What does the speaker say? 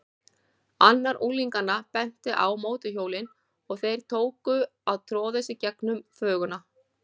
Annar unglinganna benti á mótorhjólin og þeir tóku að troðast í gegnum þvöguna.